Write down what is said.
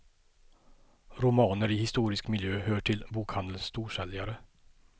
Romaner i historisk miljö hör till bokhandelns storsäljare.